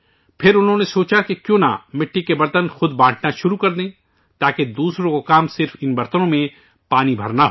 پھر انہوں نے سوچا کہ کیوں نہ مٹی کے برتن خود ہی بانٹنا شروع کردوں تاکہ دوسروں کا کام صرف ان برتنوں میں پانی بھرنا ہو